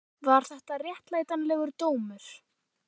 Var þetta réttlætanlegur dómur?